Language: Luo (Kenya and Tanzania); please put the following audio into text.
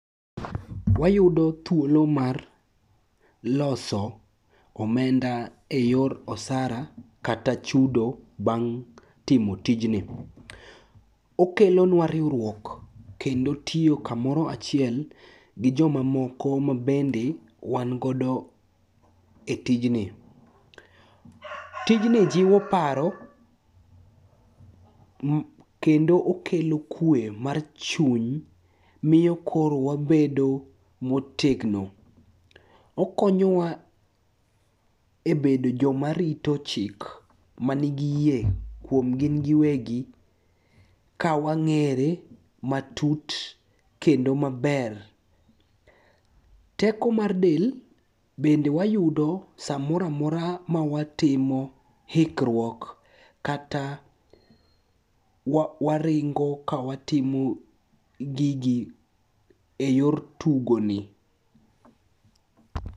Wayudo thuolo mar loso omenda e yor osara kata chudo bang' timo tijni. Okelonwa riwruok kendo tiyo kamoro achiel gi jomamomko mabende wangodo e tijni. Tijni jiwo paro kendo okelo kwe mar chuny miyo koro wabedo motegno. Okonyowa e bedo jomarito chik manigi yie kuom gingiwegi kawang'ere matut kendo maber. Teko mar del bende wayudo samoroamora mawatimo hikruok kata waringo kawatimo gigi e yor tugoni.